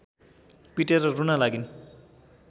पिटेर रुन लागिन्